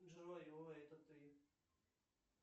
джой ой это ты